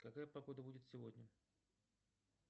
какая погода будет сегодня